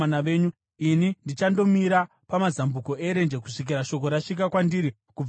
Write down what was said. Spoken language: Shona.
Ini ndichandomira pamazambuko erenje kusvikira shoko rasvika kwandiri kubva kwamuri.”